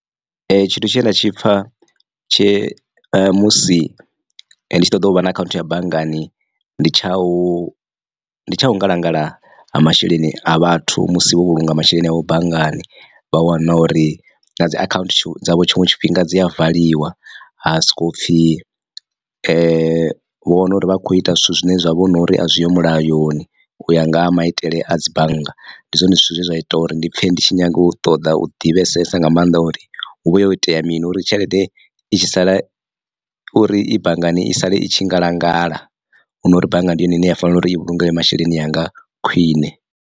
Tshithu tshine nda tshi pfa tshe musi nditshi ṱoḓa uvha na akhaunthu ya banngani ndi tsha u ndi tsha u ngalangala ha masheleni a vhathu musi vho vhulunga masheleni avho banngani vha wana uri na dzi account dzavho tshiṅwe tshifhinga dzi a valiwa ha soko pfhi vho wana uri vha kho ita zwithu zwine zwa vha hu nori azwiho mulayoni. U ya nga ha maitele a dzi bannga ndi zwone zwithu zwe zwa ita uri ndi pfhe ndi tshi nyaga u ṱoḓa u divhesesa nga maanḓa uri hu vha ho itea mini uri tshelede i tshi sala uri i banngani i sale i tshi ngalangala hunori bannga ndi yone ine ya fanela uri i vhulungele masheleni anga khwiṋe.